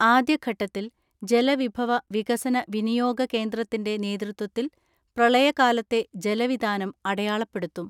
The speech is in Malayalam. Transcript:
ആദ്യഘട്ടത്തിൽ ജലവിഭവ വിക സന വിനിയോഗ കേന്ദ്രത്തിന്റെ നേതൃത്വത്തിൽ പ്രളയ കാലത്തെ ജലവിതാനം അടയാളപ്പെടുത്തും.